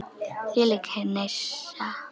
Þvílík hneisa.